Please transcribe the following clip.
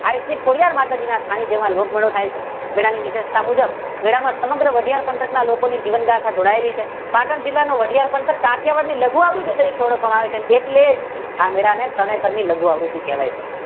આઈ શ્રી ખોડિયાર માતાજી ના સ્થાનીક જેમાં લોકમેળો થાય છે મેળા ની નિયમતા મુજબ મેળામાં સમગ્ર વાઢિયાર પંથક ના લોકોની જીવનગાથા જેવી કે જોડાયેલી છે પાટણ જિલ્લાના વાઢિયાર પંથક કાઠીયાવાડ ની લઘુઆવૃતી થી ઓળખાય છે એટલે જ આ મેળા ને તરણેતર ની લઘુયાવૃતી કહેવાય છે.